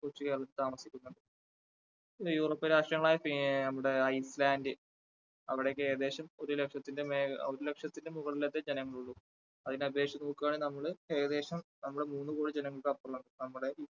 കൊച്ചുകേരളത്തിലാണ് താമസിക്കുന്നത്. പിന്നെ യൂറോപ്യൻ രാഷ്ട്രങ്ങളായ ഐസ്ലാൻഡ് അവിടെയൊക്കെ ഏകദേശം ഒരുലക്ഷത്തിന്റെമേൽ ഒരുലക്ഷത്തിനു മുകളിൽ ഒക്കെ ജനങ്ങൾ ഉള്ളൂ. അതിനെ അപേക്ഷിച്ചു നോക്കുകയാണെങ്കിൽ നമ്മൾ ഏകേദശം നമ്മുടെ മൂന്നുകോടി ജനങ്ങൾ നമ്മുടെ